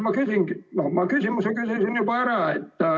Ma küsimuse küsisin juba ära.